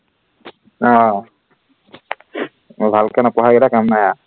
আহ বৰ ভালকে নপঢ়াকেইটা কাম নাই আৰু